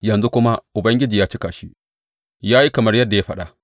Yanzu kuma Ubangiji ya cika shi; ya yi kamar yadda ya faɗa.